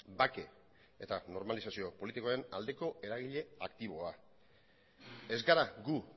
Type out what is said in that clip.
bake eta normalizazio politikoen aldeko eragile aktiboa ez gara gu